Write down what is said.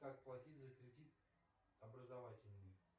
как платить за кредит образовательный